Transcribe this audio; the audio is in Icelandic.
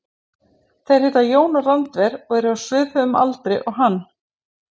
Þeir heita Jón og Randver og eru á svipuðum aldri og hann.